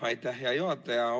Aitäh, hea juhataja!